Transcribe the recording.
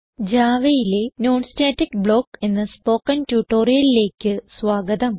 Javaയിലെ non static block എന്ന spoken ട്യൂട്ടോറിയലിലേക്ക് സ്വാഗതം